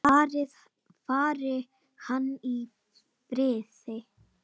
Fari hann í friði.